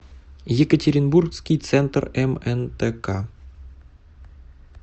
екатеринбургский центр мнтк